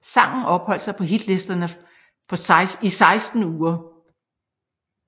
Sangen opholdt sig på hitlisterne for seksten uger